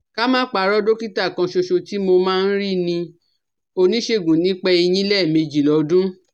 Ká má parọ́ dọ́kítà kanṣoṣo tí mo máa ń rí ni oníṣègùn nípa eyín lẹ́ẹ̀mejì lọ́dún